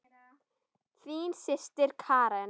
Þín systir Karen.